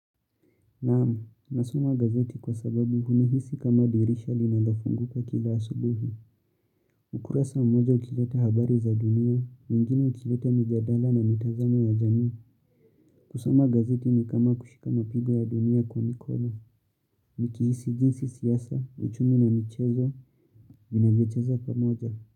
Naam, nasoma gazeti kwa sababu hunihisi kama dirisha linalofunguka kila asubuhi. Ukurasa mmoja ukileta habari za dunia, mwingine ukileta mijadala na mitazamo ya jamii. Kusoma gazeti ni kama kushika mapigo ya dunia kwa mikono. Nikihisi jinsi siasa, uchumi na michezo, vinavyocheza pamoja.